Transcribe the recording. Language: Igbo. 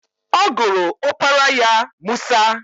Ọ gụrụ opara ya Musa.